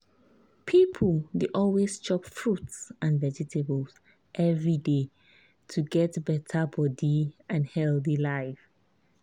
people dey always chop fruits and vegetables every day to get better body and healthy life.